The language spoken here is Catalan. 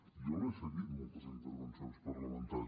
jo l’he seguit moltes intervencions parlamentàries